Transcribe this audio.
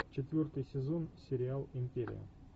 четвертый сезон сериал империя